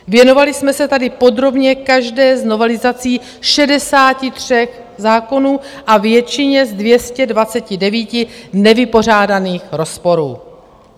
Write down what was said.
Věnovali jsme se tady podrobně každé z novelizací 63 zákonů a většině z 229 nevypořádaných rozporů.